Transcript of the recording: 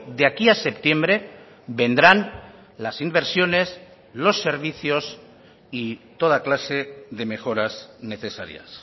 de aquí a septiembre vendrán las inversiones los servicios y toda clase de mejoras necesarias